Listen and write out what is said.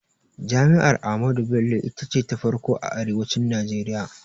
Jami'ar Ahmadu Bello ita ce ta farkon a arewacin Najeriya